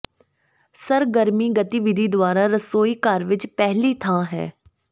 ਸਰਗਰਮੀ ਗਤੀਵਿਧੀ ਦੁਆਰਾ ਰਸੋਈ ਘਰ ਵਿੱਚ ਪਹਿਲੀ ਥਾਂ ਹੈ